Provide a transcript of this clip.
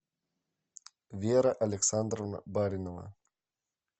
вера александровна баринова